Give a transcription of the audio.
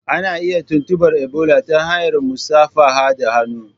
Ana iya tuntubar Ebola ta hanyar musafaha da hannu.